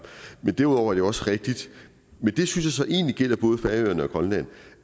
derudover er det jo også rigtigt men det synes jeg så egentlig gælder både færøerne og grønland